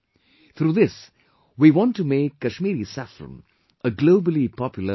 Through this, we want to make Kashmiri Saffron a Globally Popular Brand